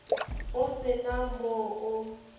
o se na mo o